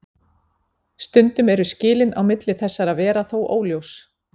Stundum eru skilin á milli þessara vera þó óljós.